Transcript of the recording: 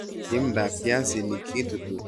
Timdab piasinik kitutu alan kebit.